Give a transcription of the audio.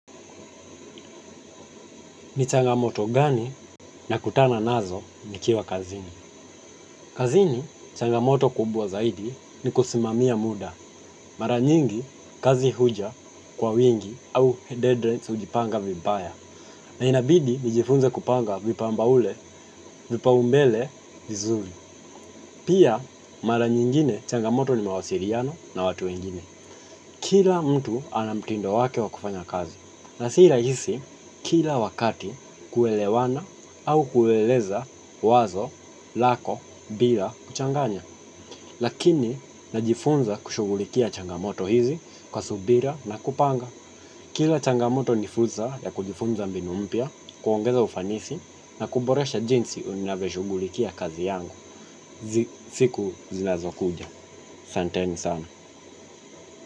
Ni changamoto gani nakutana nazo nikiwa kazini. Kazini, changamoto kubwa zaidi ni kusimamia muda. Mara nyingi, kazi huja kwa wingi au dead rents hujipanga vipaya. Na inabidi, nijifunze kupanga vipamba ule, vipaumbele, vizuli. Pia, mara nyingine, changamoto ni mawasiliano na watu wengine. Kila mtu ana mtindo wake wa kufanya kazi na si rahisi kila wakati kuelewana au kueleza wazo lako, bila kuchanganya lakini najifunza kushugulikia changamoto hizi kwa subira na kupanga kila changamoto ni fursa ya kujifunza mbinu mpya, kuongeza ufanisi na kuboresha jinsi unavyo shugulikia kazi yangu siku zinazo kuja. Santeni sana.